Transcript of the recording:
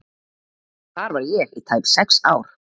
Þar var ég í tæp sex ár.